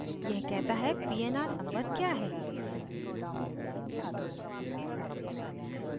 यह कहता है pnr number क्या है